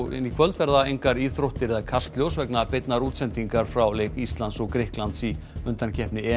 í kvöld verða engar íþróttir eða Kastljós vegna beinnar útsendingar frá leik Íslands og Grikklands í undankeppni